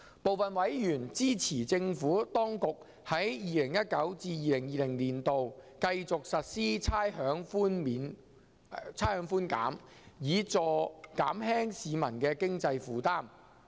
部分委員支持政府當局在 2019-2020 年度繼續實施差餉寬減，以減輕市民的經濟負擔。